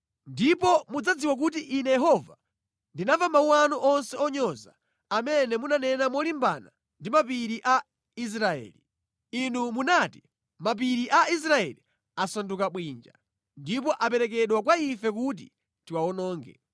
Ndipo mudzadziwa kuti Ine Yehova ndinamva mawu anu onse onyoza amene munanena molimbana ndi mapiri a Israeli. Inu munati, ‘Mapiri a Israeli asanduka bwinja, ndipo aperekedwa kwa ife kuti tiwawononge.’